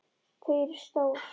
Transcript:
Þau eru stór.